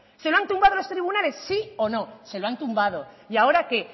se lo han tumbado los tribunales sí o no se lo han tumbado ya ahora qué